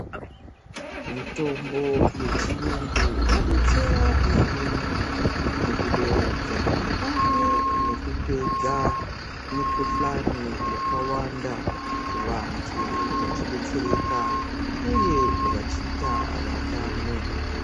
Mitombo yechiyungu yabetsera maningi mukuderedza pamwe nekupedza mikuhlani yakawanda vantu vachibetsereka uye vachiita vatano.